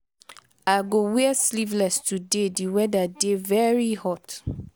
i go wear sleevless today di weather dey very hot.